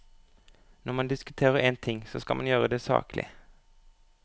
Når man diskuterer en ting, så skal man gjøre det saklig.